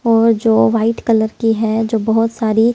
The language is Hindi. और जो वाइट कलर की है जो बहुत सारी।